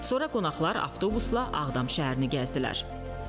Sonra qonaqlar avtobusla Ağdam şəhərini gəzdilər.